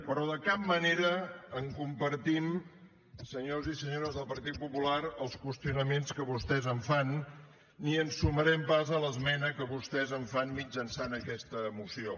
però de cap manera en compartim senyors i senyores del partit popular els qüestionaments que vostès en fan ni ens sumarem pas a l’esmena que vostès en fan mitjançant aquesta moció